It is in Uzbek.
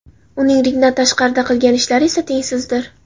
Uning ringdan tashqarida qilgan ishlari esa tengsizdir.